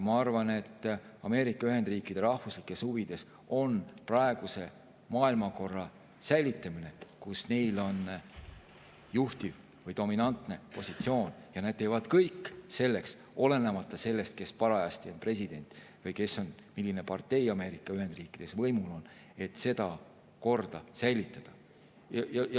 Ma arvan, et Ameerika Ühendriikide rahvuslikes huvides on säilitada praegune maailmakord, kus tal on juhtiv või dominantne positsioon, ja ta teeb kõik, olenemata sellest, kes parajasti on president või milline partei Ameerika Ühendriikides võimul on, et seda korda säilitada.